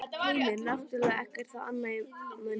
Heimir: Náttúrlega ekkert þá amað að mönnum?